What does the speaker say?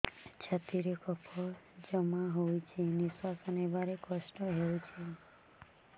ଛାତିରେ କଫ ଜମା ହୋଇଛି ନିଶ୍ୱାସ ନେବାରେ କଷ୍ଟ ହେଉଛି